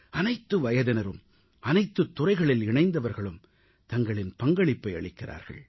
அனைத்து வயதினரும் அனைத்துத் துறைகளில் இணைந்தவர்களும் தங்களின் பங்களிப்பை அளிக்கிறார்கள்